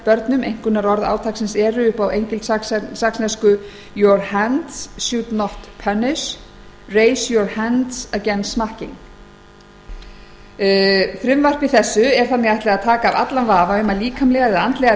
börnum einkunnarorð átaksins eru your hands should not punish raise your hands against smacking frumvarpi þessu er þannig ætlað að taka af allan vafa um að líkamlegar eða andlegar